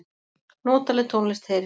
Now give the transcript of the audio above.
Notaleg tónlist heyrist.